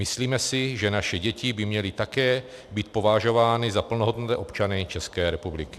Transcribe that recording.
Myslíme si, že naše děti by měly také být považovány za plnohodnotné občany České republiky.